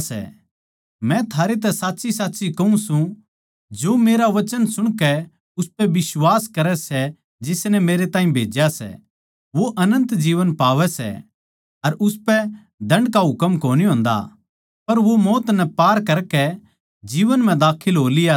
मै थारैतै साच्चीसाच कहूँ सूं जो मेरा वचन सुणकै उसपै बिश्वास करै सै जिसनै मेरै ताहीं भेज्या सै वो अनन्त जीवन पावै सै अर उसपै दण्ड का हुकम कोनी होन्दा पर वो मौत नै पार करकै जीवन म्ह बड़ लिया सै